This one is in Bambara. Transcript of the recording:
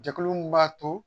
Jɛkulu min b'a to